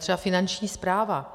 Třeba Finanční správa.